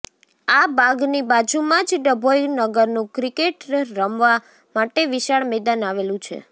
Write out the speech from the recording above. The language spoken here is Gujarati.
આ બાગની બાજુમાં જ ડભોઇ નગરનું ક્રિકેટ રમવા માટે વિશાળ મેદાન આવેલું છે